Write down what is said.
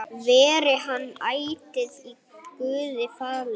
Veri hann ætíð Guði falinn.